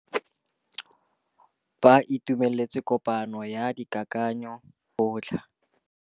Ba itumeletse kôpanyo ya dikakanyô tsa bo mme ba lekgotla.